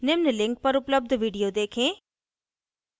निम्न link पर उपलब्ध video देखें